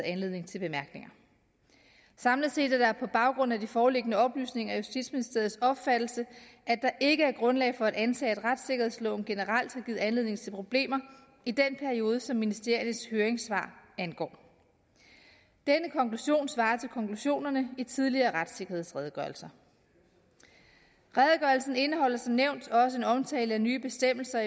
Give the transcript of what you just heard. anledning til bemærkninger samlet set er det på baggrund af de foreliggende oplysninger justitsministeriets opfattelse at der ikke er grundlag for at antage at retssikkerhedsloven generelt har givet anledning til problemer i den periode som ministeriernes høringssvar angår denne konklusion svarer til konklusionerne i tidligere retssikkerhedsredegørelser redegørelsen indeholder som nævnt også en omtale af nye bestemmelser